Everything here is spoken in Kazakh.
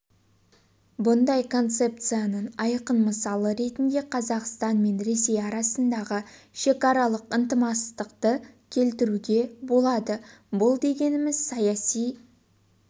бұндай концепцияның айқын мысалы ретінде қазақстан мен ресей арасындағы шекаралық ынтымақтасты келтіруге болады бұл дегеніміз саяси